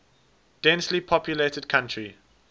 densely populated country